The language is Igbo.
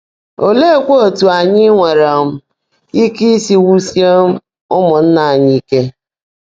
Oleekwa otú anyị nwere um ike isi wusie um ụmụnna anyị ike?